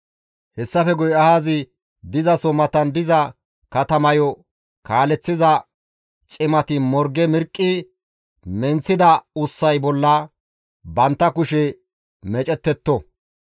Hessafe guye ahazi dizaso matan diza katamayo kaaleththiza cimati morge mirqqi menththida ussay bolla bantta kushe meecettetto.